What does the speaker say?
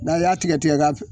N'a y'a tigɛ tigɛ ka